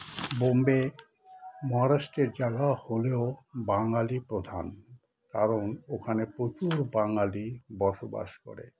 বোম্বে মহারাষ্ট্রের জায়গা হলেও বাঙালি প্রধান কারণ ওখানে প্রচুর বাঙালি বসবাস করে